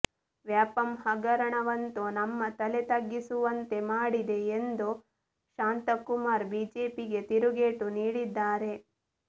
ವ್ಯಾಪಂ ಹಗರಣವಂತೂ ನಮ್ಮ ತಲೆ ತಗ್ಗಿಸುವಂತೆ ಮಾಡಿದೆ ಎಂದು ಶಾಂತಕುಮಾರ್ ಬಿಜೆಪಿಗೆ ತಿರುಗೇಟು ನೀಡಿದ್ದಾರೆ